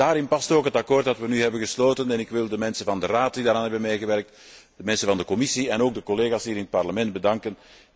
Daarin past ook het akkoord dat we nu hebben gesloten en ik wil de mensen van de Raad die daaraan hebben meegewerkt, de mensen van de Commissie en ook de collega's hier in het Parlement bedanken.